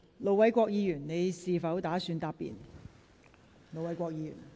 盧偉國議員，你是否打算答辯？